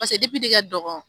Paseke depi ne ka dɔgɔ